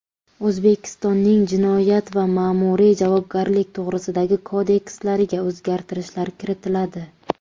O‘zbekistonning Jinoyat va Ma’muriy javobgarlik to‘g‘risidagi kodekslariga o‘zgartirishlar kiritiladi.